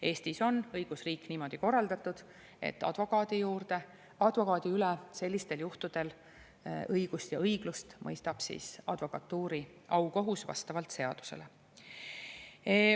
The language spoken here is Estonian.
Eestis on õigusriik niimoodi korraldatud, et advokaadi üle sellistel juhtudel õigust ja õiglust mõistab advokatuuri aukohus vastavalt seadusele.